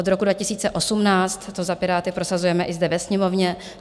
Od roku 2018 to za Piráty prosazujeme i zde ve Sněmovně.